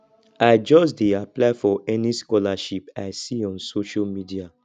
i just dey apply for any scholarship i see on social media